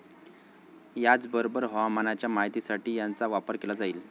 याचबरोबर हवामानाच्या माहितीसाठीचा याचा वापर केला जाईल.